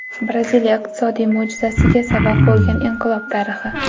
Braziliya iqtisodiy mo‘jizasiga sabab bo‘lgan inqilob tarixi.